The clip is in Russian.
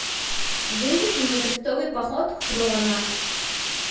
выведи мне крестовый поход хроно